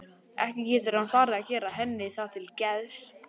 Ekki getur hann farið að gera henni það til geðs?